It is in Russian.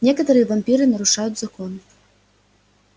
некоторые вампиры нарушают законы